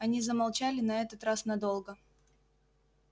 они замолчали на этот раз надолго